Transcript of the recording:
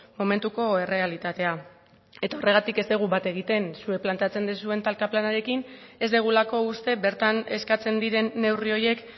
momentuko errealitatea eta horregatik ez dugu bat egiten zuek planteatzen duzuen talka planarekin ez dugulako uste bertan eskatzen diren neurri horiek